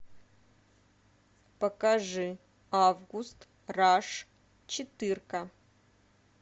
покажи август раш четырка